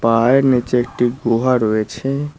পাহাড়ের নিচে একটি গুহা রয়েছে।